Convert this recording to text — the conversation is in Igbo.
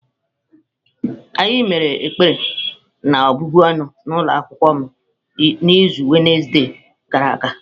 Anyị mere ekpere na-ọbụbụ ọnụ n'ụlọ akwụkwọ m n'izu Wednesde gara aga.